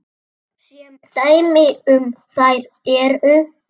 Sem dæmi um þær eru